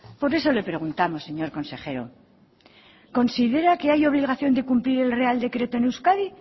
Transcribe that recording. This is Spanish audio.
por eso le preguntamos señor consejero considera que hay obligación de cumplir el real decreto en euskadi